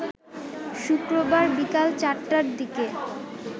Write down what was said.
শুক্রবার বিকাল ৪টার দিকে